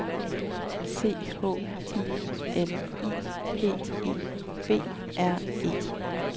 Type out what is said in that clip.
C H I L I P E B R E